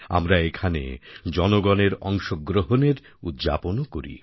আমরা এখানে জনগণের অংশগ্রহণের উদ্যাপনও করি